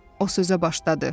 O sözə başladı.